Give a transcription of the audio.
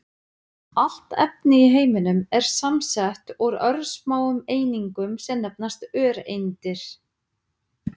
Allt efni í heiminum er samsett úr örsmáum einingum sem nefnast öreindir.